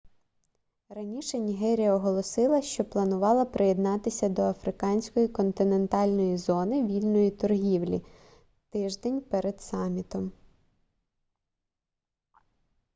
раніше нігерія оголосила що планувала приєднатися до африканської континентальної зони вільної торгівлі тиждень перед самітом